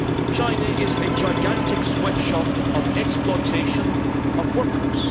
China is a gigantic sweatshop of exploitation of workers.